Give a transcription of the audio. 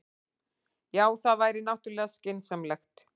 Já, það væri náttúrlega skynsamlegast.